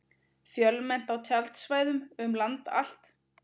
Fjölmennt á tjaldsvæðum um land allt